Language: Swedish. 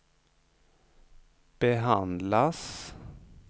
behandlas